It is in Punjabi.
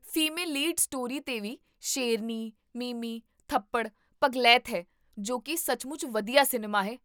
ਫੀਮੇਲ ਲੀਡ ਸਟੋਰੀ 'ਤੇ ਵੀ ਸ਼ੇਰਨੀ, ਮਿਮੀ, ਥੱਪੜ, ਪਗਲਾਇਤ ਹੈ ਜੋ ਕੀ ਸੱਚਮੁੱਚ ਵਧੀਆ ਸਿਨੇਮਾ ਹੈ